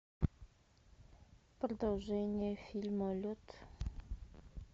продолжение фильма лед